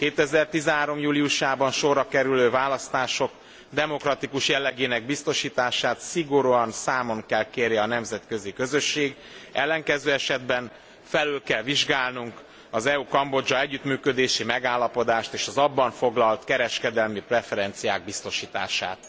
2013 júliusában sorra kerülő választások demokratikus jellegének biztosítását szigorúan számon kell kérje a nemzetközi közösség, ellenkező esetben felül kell vizsgálnunk az EU Kambodzsa együttműködési megállapodást, és az abban foglalt kereskedelmi preferenciák biztosítását.